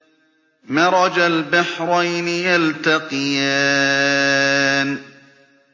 مَرَجَ الْبَحْرَيْنِ يَلْتَقِيَانِ